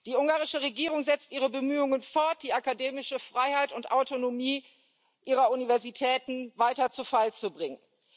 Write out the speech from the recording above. Die ungarische Regierung setzt ihre Bemühungen fort, die akademische Freiheit und Autonomie ihrer Universitäten weiter zu Fall zu bringen.